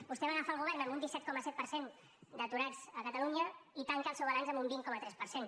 vostè va agafar el govern amb un disset coma set per cent d’aturats a catalunya i tanca el seu balanç amb un vint coma tres per cent